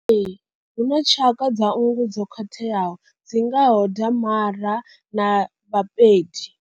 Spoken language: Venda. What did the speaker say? Ee, hu na tshaka nngu dzo khwathelaho dzi ngaho da mara na vhapedi.